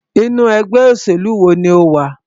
Inú ẹgbẹ́ òṣèlú wo ní o wà?